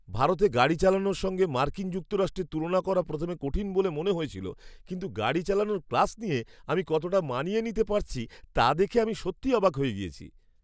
ভারতে গাড়ি চালানোর সঙ্গে মার্কিন যুক্তরাষ্ট্রের তুলনা করা প্রথমে কঠিন বলে মনে হয়েছিল, কিন্তু গাড়ি চালানোর ক্লাস নিয়ে, আমি কতটা মানিয়ে নিতে পারছি তা দেখে আমি সত্যিই অবাক হয়ে গিয়েছি!